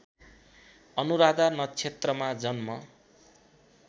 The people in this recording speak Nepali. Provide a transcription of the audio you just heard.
अनुराधा नक्षत्रमा जन्म